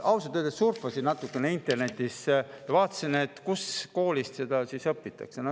Ma ausalt öeldes surfasin natukene internetis ja vaatasin, kus koolis seda õpitakse.